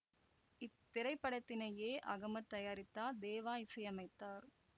இத்திரைப்படத்தினை A Ahmed தயாரித்தார் தேவா இசையமைத்தார்